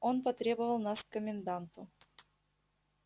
он потребовал нас к коменданту